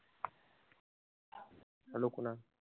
Hello Kunal.